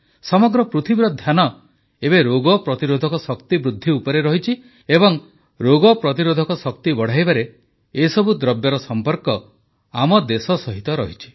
ସମଗ୍ର ପୃଥିବୀର ଧ୍ୟାନ ଏବେ ରୋଗ ପ୍ରତିରୋଧକ ଶକ୍ତି ବୃଦ୍ଧି ଉପରେ ଅଛି ଏବଂ ରୋଗ ପ୍ରତିରୋଧକ ଶକ୍ତି ବଢ଼ାଇବାରେ ଏସବୁ ଦ୍ରବ୍ୟର ସମ୍ପର୍କ ଆମ ଦେଶ ସହିତ ରହିଛି